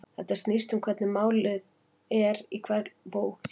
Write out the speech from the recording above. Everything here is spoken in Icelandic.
Þetta snýst um hvernig mér líður í lok hvers tímabils, sagði Giggs.